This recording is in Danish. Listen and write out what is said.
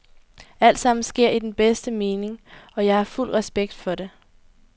Alt sammen sker i den bedste mening, og jeg har fuld respekt for det.